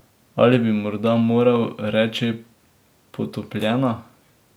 Ali bi morda moral reči potopljena?